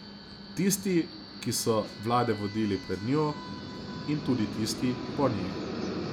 Tisti, ki so vlade vodili pred njo, in tudi tisti po njej.